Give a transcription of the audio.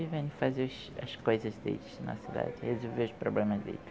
E vem fazer as coisas deles na cidade, resolver os problemas deles.